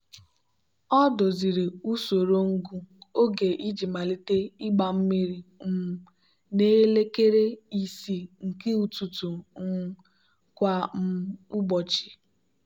ọ doziri usoro ngụ oge iji malite ịgba mmiri um n'elekere isii nke ụtụtụ um kwa um ụbọchị.